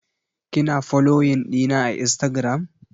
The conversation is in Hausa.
Kina foloyin ɗina a instagiram?